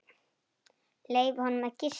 Leyfa honum að gista.